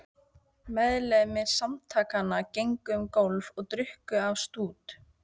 Meðlimir Samtakanna gengu um gólf og drukku af stút.